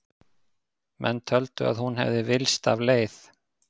Menn töldu að hún hefði villst af leið.